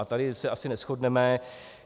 A tady se asi neshodneme.